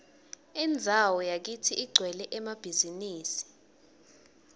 indzawo yakitsi igcwele emabhizimisi